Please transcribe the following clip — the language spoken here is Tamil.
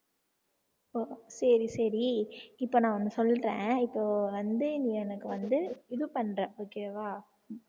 ஓ சரி சரி இப்ப நான் ஒண்ணு சொல்றேன் இப்போ வந்து நீ எனக்கு வந்து இது பண்ற okay வா